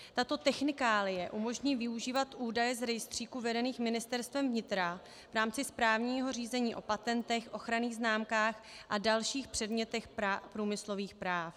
Tato technikálie umožní využívat údaje z rejstříků vedených Ministerstvem vnitra v rámci správního řízení o patentech, ochranných známkách a dalších předmětech průmyslových práv.